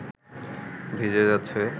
ভিজে যাচ্ছে